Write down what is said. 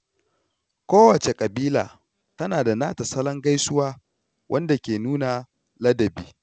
Kowace kabila tana da nata salon gaisuwa wanda ke nuna ladabi.